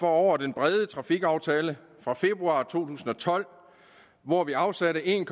over den brede trafikaftale fra februar to tusind og tolv hvor vi afsatte en